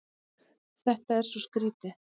Þetta er svo skrýtið.